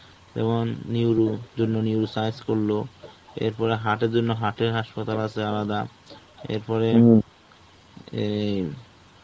এবং Neuro, জন্য Neuro science করলো. এরপরে heart এর জন্য heart এর হাসপাতাল আছে আলাদা. এরপরে অ্যাঁ